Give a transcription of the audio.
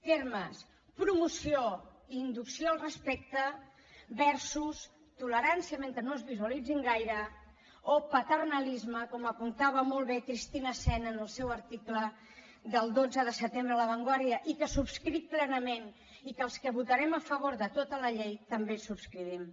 termes promoció inducció al respecte versus tolerància mentre no es visualitzin gaire o paternalisme com apuntava molt bé cristina sen en el seu article del dotze de setembre a la vanguardia i que subscric plenament i que els que votarem a favor de tota la llei també el subscrivim